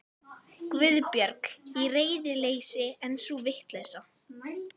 Guðbjörg. í reiðileysi, en sú vitleysa.